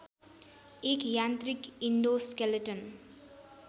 एक यान्त्रिक इन्डोस्केलेटन